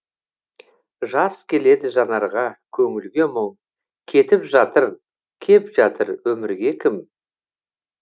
жас келеді жанарға көңілге мұң кетіп жатыр кеп жатыр өмірге кім